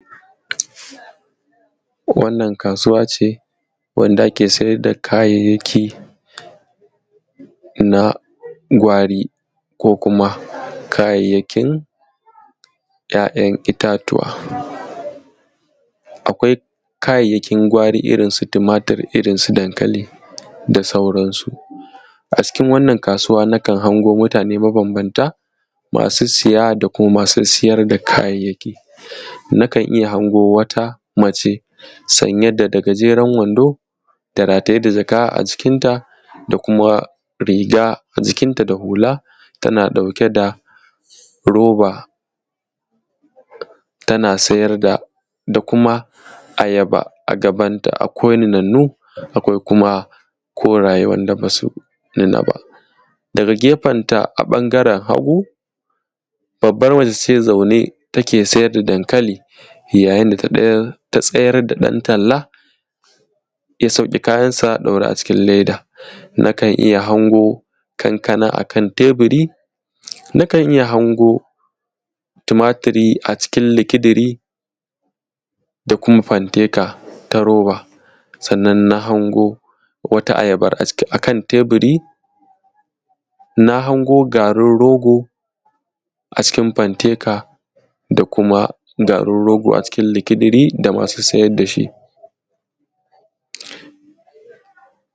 Wannan kasuwa ce wanda ake saida kayayyaki na gwari ko kuma kayayyakin ya yan itatuwa akwai kayayyakin gwari irrin su tumatir irrin su dankali da sauran su acikin wannan kasuwa nakan hango mutane ma banbanta masu saya da kuma masu sayar da kayayyaki nakan iyya hango wata mace sanye da gajeren wando da rataye da jaka a jikin ta da kuma riga a jikin ta da hula tana dauke da roba tana sayar da da kuma ayaba akwai nunannu akwai kuma koraye wanda basu nuna ba daga gefenta a bangaren hagu babar mace ce zanne take sai da dankali yayin da ta sayar da dan talla ya sauke kayan sa daure a cikin leda nakan iyya hango kankana akan taburi nakan iyya hango tumatur acikin likidiri da kuma fanteka ta roba sannan hango wata ayaban akan taburi na hango garin rogo a cikin fanteka da kuma garin rogo a cikin likidiri da masu sayar dashi.